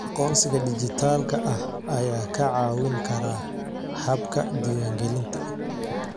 Aqoonsiga dhijitaalka ah ayaa kaa caawin kara habka diiwaangelinta.